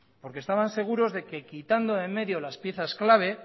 porque estaban seguros de que quitando de en medio las piezas claves